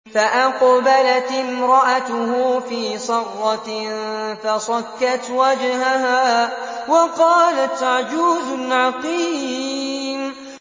فَأَقْبَلَتِ امْرَأَتُهُ فِي صَرَّةٍ فَصَكَّتْ وَجْهَهَا وَقَالَتْ عَجُوزٌ عَقِيمٌ